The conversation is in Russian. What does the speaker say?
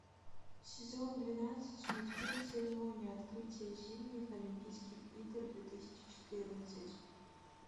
сезон двенадцать мультфильм церемония открытия зимних олимпийских игр две тысячи четырнадцать